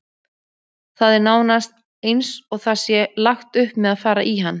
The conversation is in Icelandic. Það er nánast eins og það sé lagt upp með að fara í hann.